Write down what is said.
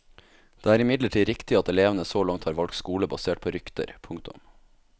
Det er imidlertid riktig at elevene så langt har valgt skole basert på rykter. punktum